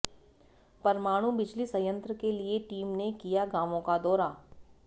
परमाणु बिजली संयंत्र के लिए टीम ने किया गांवों का दौरा